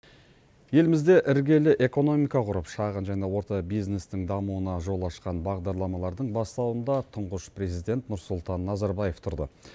елімізде іргелі экономика құрып шағын және орта бизнестің дамуына жол ашқан бағдарламалардың бастауында тұңғыш президент нұрсұлтан назарбаев тұрды